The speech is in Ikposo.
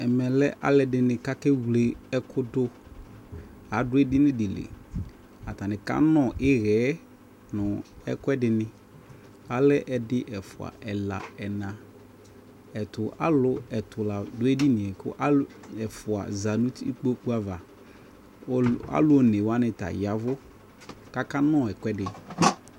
ɛmɛ lɛ alu ɛdini ku ake wle eku du adu edini di li atani kanɔ ihɛ nu eku ɛdini alɛ edi ɛfua ɛla ɛna ɛtu alu ɛtu la du edini yɛ ku alu ɛfua za uti nu kpokpu ava ku alu one wani ta ya ɛvu ku aka nɔ ɛku ɛdi